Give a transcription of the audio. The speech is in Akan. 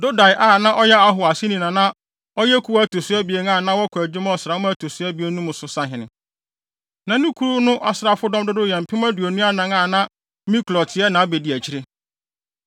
Dodai a na ɔyɛ Ahoa aseni na na ɔyɛ kuw a ɛto so abien a na wɔkɔ adwuma ɔsram a ɛto so abien mu no so sahene. Na ne kuw no asraafodɔm dodow yɛ mpem aduonu anan (24,000), a na Miklot yɛ nʼabediakyiri.